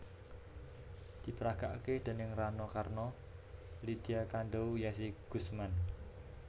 Diperagakake déning Rano Karno Lydia Kandow Yessy Guzman